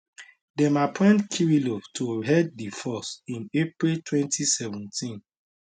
dem appoint kirillov to head di force in april 2017